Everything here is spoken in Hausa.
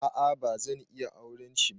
A'a bazan iya auren shi ba.